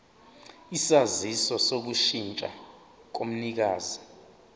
isaziso sokushintsha komnikazi